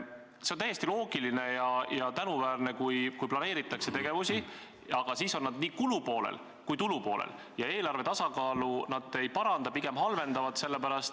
See on täiesti loogiline ja tänuväärne, et planeeritakse tegevusi, aga need on seotud nii kulu- kui tulupoolega ja eelarve tasakaalu need ei paranda, pigem halvendavad.